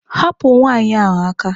Hapụ nwaanyị ahụ aka!